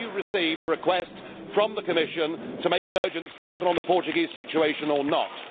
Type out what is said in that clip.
Have you received a request from the Commission to make an urgent statement on the Portuguese situation or not?